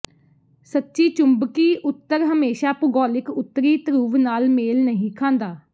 ਸੱਚੀ ਚੁੰਬਕੀ ਉੱਤਰ ਹਮੇਸ਼ਾ ਭੂਗੋਲਿਕ ਉੱਤਰੀ ਧਰੁਵ ਨਾਲ ਮੇਲ ਨਹੀਂ ਖਾਂਦਾ